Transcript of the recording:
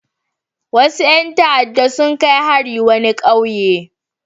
Wasu ƴan ta'adda sun kai hari wani ƙauye.